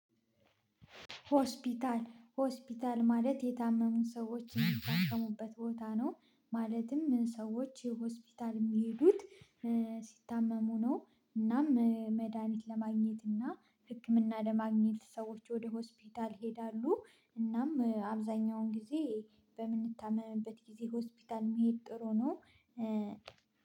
ሆስፒታል ሆስፒታል ማለት የታመሙ ሰዎችን የሚታከሙበት ቦታ ነው። ማለትም ሰዎች ሆስፒታል የሚሄዱት ሲታመሙ ነው። እናም መድሃኒት ለማግኘት እና ህክምና ለማግኘት ሰዎች ወደ ሆስፒታል ይሄዳሉ። እናም አብዛኛውን ጊዜ በምንታመምበት ጊዜ ሆስፒታል መሄድ ጥሩ ነው።